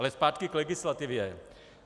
Ale zpátky k legislativě.